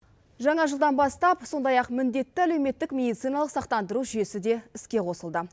жаңа жылдан бастап сондай ақ міндетті әлеуметтік медициналық сақтандыру жүйесі де іске қосылды